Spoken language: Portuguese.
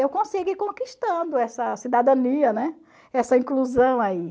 eu consigo ir conquistando essa cidadania, né, essa inclusão aí.